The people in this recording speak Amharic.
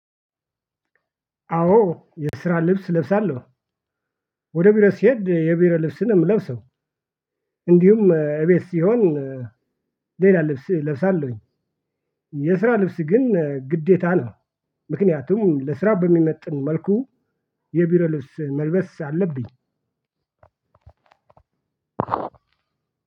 አዎ የስራ ልብስ ለብሳለሁ ወደ ቢሮ ሲሄድ የቢሮ ልብስን ነው ምለብሰው። እንዲሁም እቤት ሲሆን። ሌላ ልብስ እለብሳለሁኝ። የስራ ልብስ ግን ግዴታ ነው። ምክንያቱም ለስራ በሚመጥን መልኩ የቢሮ ልብስ መልበስ አለብኝ።